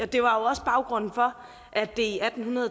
det var også baggrunden for at det i atten